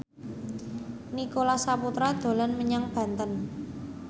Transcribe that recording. Nicholas Saputra dolan menyang Banten